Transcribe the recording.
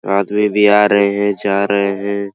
आदमी भी आ रहे है जा रहे है।